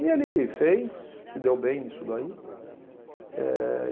E ele fez, se deu bem nisso daí. Eh